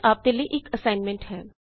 ਇੱਥੇ ਆਪ ਲਈ ਇਕ ਅਸਾਇਨਮੈੰਟ ਹੈ